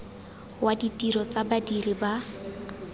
wa ditiro tsa badiri ba